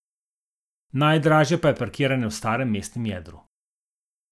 Najdražje pa je parkiranje v starem mestnem jedru.